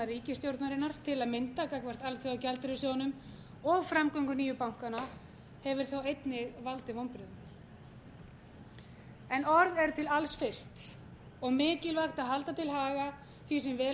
ríkisstjórnarinnar til að mynda gagnvart alþjóðagjaldeyrissjóðnum og framgöngu nýju bankanna hefur þá einnig valdið vonbrigðum orð eru til alls fyrst og mikilvægt að halda til haga því sem vel hefur tekist og